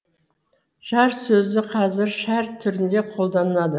жар сөзі қазір шәр түрінде қолданылады